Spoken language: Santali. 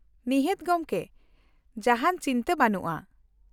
-ᱱᱤᱦᱟᱹᱛ ᱜᱚᱝᱠᱮ, ᱡᱟᱦᱟᱱ ᱪᱤᱱᱛᱟᱹ ᱵᱟᱹᱱᱩᱜᱼᱟ ᱾